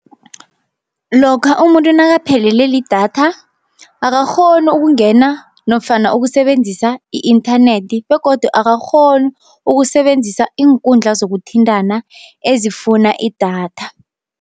Lokha umuntu nakaphelele lidatha akakghoni ukungena nofana ukusebenzisa i-inthanethi, begodu akakghoni ukusebenzisa iinkundla zokuthintana ezifuna idatha.